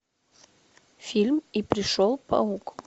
фильм и пришел паук